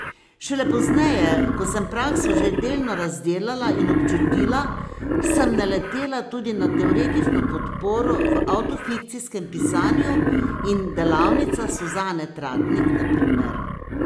Šele pozneje, ko sem prakso že delno razdelala in občutila, sem naletela tudi na teoretično podporo v avtofikcijskem pisanju in delavnicah Suzane Tratnik, na primer.